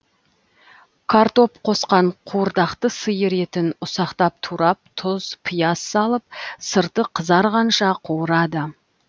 картоп қосқан қуырдақты сиыр етін ұсақтап турап тұз пияз салып сырты қызырғанша қуырады